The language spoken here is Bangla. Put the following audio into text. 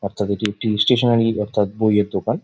বাচ্চা দুটি একটি ইসস্টেশনারী অর্থাৎ বই এর দোকান--